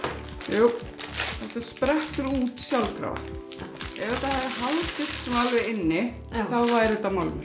jú þetta sprettur út sjálfkrafa ef þetta hefði haldist inni þá væri þetta málmur